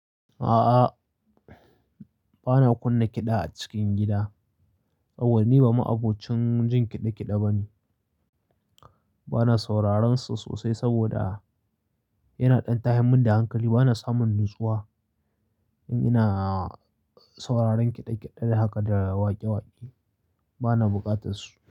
A'a, ba na kunna kiɗa a cikin gida. Auwal ni ba ma'abocin jin kiɗe-kiɗe bane. Ba na sauraron su sosai saboda yana ɗan tahimmin da hankali. Ba na samun natsuwa in ina sauraron kiɗe-kiɗe da haka da waƙe-waƙe. Ba na buƙatar su.